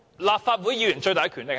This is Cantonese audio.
立法會議員的最大權力是甚麼？